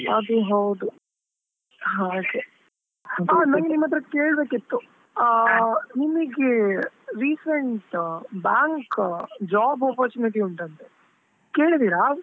ಅದು ಹೌದು ಹಾಗೆ, ನನಿಗ್ ನಿಮ್ ಹತ್ರ ಕೇಳ್ಬೇಕಿತ್ತು? ಆ ನಿಮಿಗೆ recent bank ಅ job opportunity ಉಂಟಂತೆ ಕೇಳಿದ್ದೀರಾ?